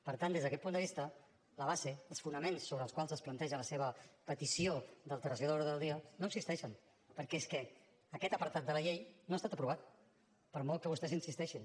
per tant des d’aquest punt de vista la base els fonaments sobre els quals es planteja la seva petició d’alteració de l’ordre del dia no existeixen perquè és que aquest apartat de la llei no ha estat aprovat per molt que vostès hi insisteixin